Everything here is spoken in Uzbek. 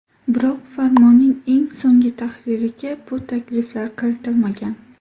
Biroq, Farmonning eng so‘nggi tahririga bu takliflar kiritilmagan.